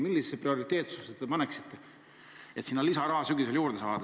Millisesse prioriteetsusesse te paneksite selle, et sinna sügisel lisaraha juurde saada?